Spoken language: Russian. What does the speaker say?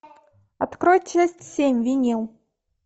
открой часть семь винил